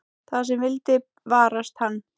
Það sem vildi varast hann.